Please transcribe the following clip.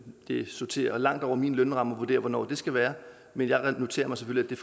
det sorterer langt over min lønramme at vurdere hvornår det skal være men jeg noterer mig selvfølgelig